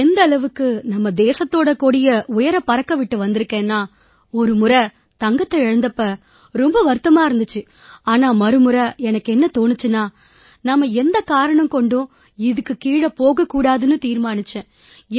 எந்த அளவுக்கு நம்ம தேசத்தோட கொடிய உயரப் பறக்க விட்டு வந்திருக்கேன்னா ஒரு முறை தங்கத்தை இழந்த போது வருத்தமா இருந்திச்சு ஆனால் மறுமுறை எனக்கு என்ன தோணிச்சுன்னா நாம எக்காரணம் கொண்டும் இதுக்குக் கீழ போகக் கூடாதுன்னு தீர்மானிச்சேன்